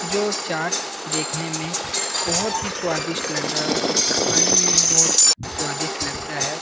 जो चाट देखने में बहोत ही स्वादिष्ट लग रहा है और इसे खाने में भी बहोत स्वादिष्ट लगता है।